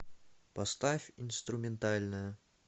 поставь инструментальная